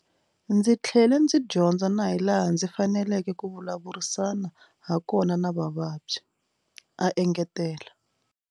Ndzi tlhele ndzi dyondza na hilaha ndzi faneleke ku vulavurisana hakona na vavabyi a engetela.